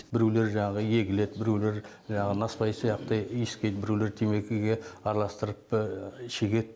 біреулері жаңағы егіледі біреулері жаңағы насыбай сияқты иіскейді біреулері темекіге араластырып шегеді